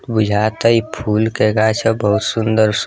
बुझा ता इ फूल के गाछ ह बहुत सुन्दर स --